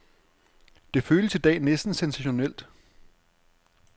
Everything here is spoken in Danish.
Det føles i dag næsten sensationelt.